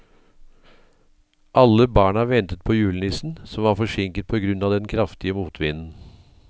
Alle barna ventet på julenissen, som var forsinket på grunn av den kraftige motvinden.